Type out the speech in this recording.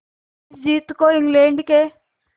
इस जीत को इंग्लैंड के